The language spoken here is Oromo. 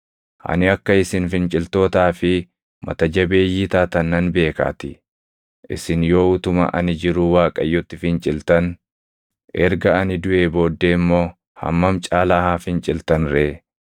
Ani akka isin finciltootaa fi mata jabeeyyii taatan nan beekaatii. Isin yoo utuma ani jiruu Waaqayyotti finciltan, erga ani duʼee booddee immoo hammam caalaa haa finciltan ree!